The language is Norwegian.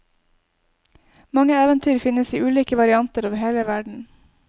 Mange eventyr finnes i ulike varianter over hele verden.